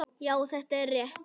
Já, þetta er rétt.